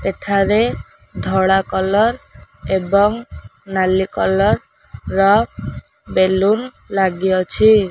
ଏଠାରେ ଧଳା କଲର୍ ଏବଂ ନାଲି କଲର୍ ର ବେଲୁନ୍ ଲାଗିଅଛି।